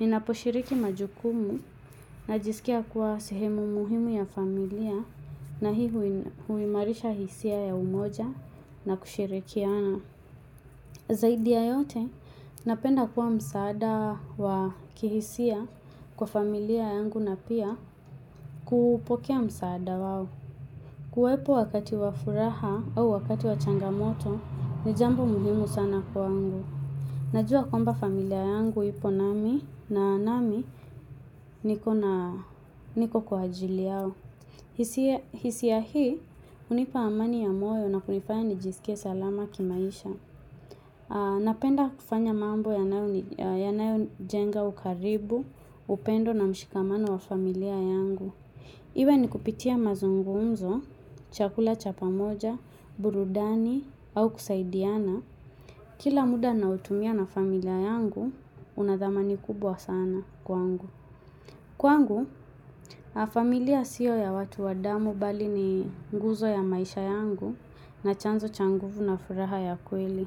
Ninaposhiriki majukumu najisikia kuwa sehemu muhimu ya familia na hii huimarisha hisia ya umoja na kushirikiana. Zaidi ya yote, napenda kuwa msaada wa kihisia kwa familia yangu na pia kupokea msaada wao. Kuwepo wakati wa furaha au wakati wa changamoto, ni jambo muhimu sana kwangu. Najua kwamba familia yangu ipo nami na nami niko kwa ajili yao. Hisia hisia hii hunipa amani ya moyo na kunifanya nijisikie salama kimaisha. Napenda kufanya mambo yanayojenga ukaribu, upendo na mshikamano wa familia yangu. Iwe ni kupitia mazungumzo, chakula chapa pamoja, burudani au kusaidiana. Kila muda nautumia na familia yangu, una dhamani kubwa sana kwangu. Kwangu, familia siyo ya watu wa damu bali ni nguzo ya maisha yangu na chanzo cha nguvu na furaha ya kweli.